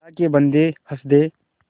अल्लाह के बन्दे हंस दे